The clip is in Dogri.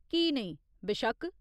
की नेईं, बेशक्क।